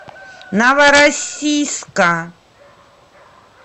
новороссийска